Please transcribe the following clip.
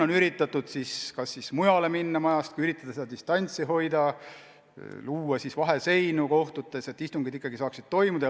On üritatud kas majast mujale minna või proovida distantsi hoida, luua kohtutes vaheseinu, et istungid ikkagi saaksid toimuda.